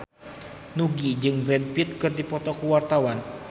Nugie jeung Brad Pitt keur dipoto ku wartawan